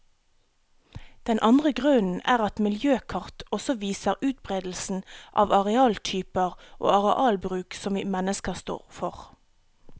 Den andre grunnen er at miljøkart også viser utberedelsen av arealtyper og arealbruk som vi mennesker står for.